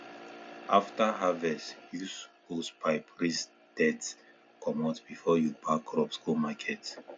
after harvest use hosepipe rinse dirt comot before you pack crops go market